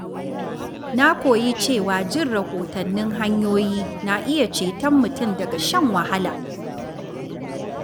Na koyi cewa jin rahotannin hanyoyi na iya ceton mutum daga shan wahala.